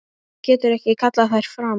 Getur ekki kallað þær fram.